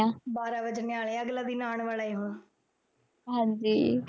ਹਾਂਜੀ।